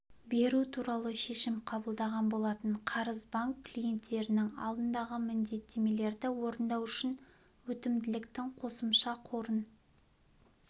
беру туралы шешім қабылдаған болатын қарыз банк клиенттерінің алдындағы міндеттемелерді орындау үшін өтімділіктің қосымша қорын